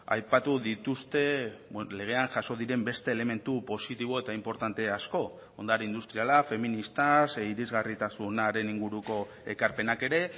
aipatu dituzte legean jaso diren beste elementu positibo eta inportante asko ondare industriala feminista irisgarritasunaren inguruko ekarpenak ere